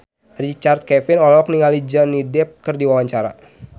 Richard Kevin olohok ningali Johnny Depp keur diwawancara